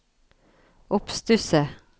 oppstusset